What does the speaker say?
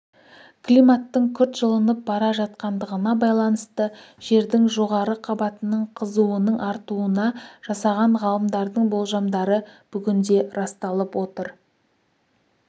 климаттың күрт жылынып бара жатқандығына байланысты жердің жоғары қабатының қызуының артуына жасаған ғалымдардың болжамдары бүгінде расталып отыр